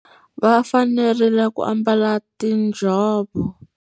Va fanerile ku ambala tinjhovo.